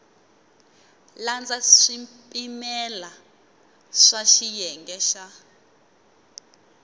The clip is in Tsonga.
landza swipimelo swa xiyenge xa